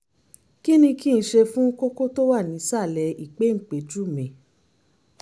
kí ni kí n ṣe fún kókó tó wà ní ìsàlẹ̀ ìpéǹpéjú mi?